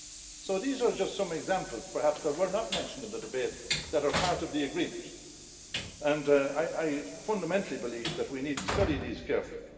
So these are just some examples, perhaps, that were not mentioned in the debate that are part of the agreement, and I fundamentally believe that we need to study this carefully.